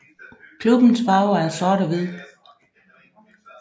Klubbens farver er sort og hvid